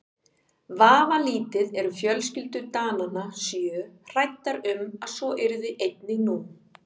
Vafalítið eru fjölskyldur Dananna sjö hræddar um að svo yrði einnig nú.